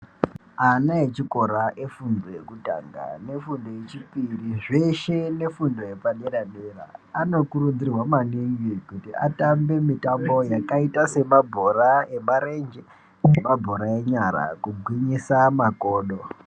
Ana echikora efundo yekutanga nefundo yechipiri zveshe nefundo yepaderadera anokurudzirwa maningi kuti atambe mitambo yakaita semabhora emarenje ne mabhora enyara kugwinyisa makodo.